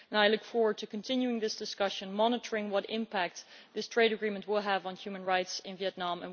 I look forward to continuing this discussion and monitoring the impact this trade agreement will have on human rights in Vietnam.